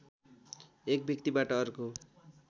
एक व्यक्तिबाट अर्को